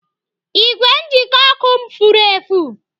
Igwe njikọ ọkụ m furu efu.